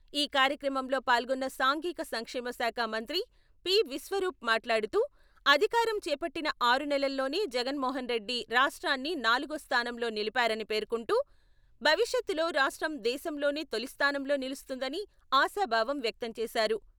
ఈ కార్యక్రమంలో పాల్గొన్న సాంఘిక సంక్షేమ శాఖ మంత్రి పి.విశ్వరూప్ మాట్లాడుతూ, అధికారం చేపట్టిన ఆరునెలల్లోనే జగన్మోహన్ రెడ్డి రాష్ట్రాన్ని నాలుగో స్థానంలో నిలిపారని పేర్కొంటూ, భవిష్యత్తులో రాష్ట్రం దేశంలోనే తొలిస్థానంలో నిలుస్తుందని ఆశాభావం వ్యక్తం చేశారు.